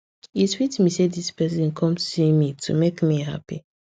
e sweet me say this person come see me to make me happy